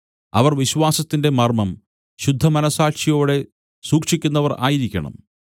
അവർ വിശ്വാസത്തിന്റെ മർമ്മം ശുദ്ധമനസ്സാക്ഷിയോടെ സൂക്ഷിക്കുന്നവർ ആയിരിക്കണം